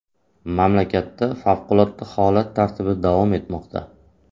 Mamlakatda favqulodda holat tartibi davom etmoqda.